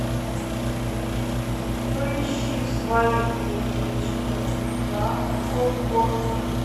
поищи свои дети четыре ка окко